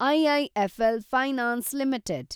IIFL finance limited